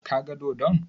Ka ga dodon?